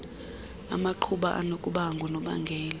amaqhuba anokuba ngunobangela